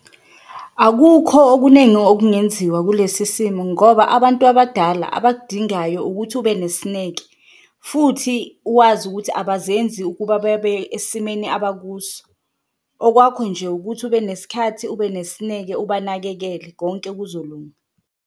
Akukho okunengi okungenziwa kulesi simo ngoba abantu abadala abakudingayo ukuthi ube nesineke futhi wazi ukuthi abazenzi ukuba bebe esimeni abakuso okwakho nje ukuthi ubenesikhathi, ube nesineke, abanakekele konke kuzolunga.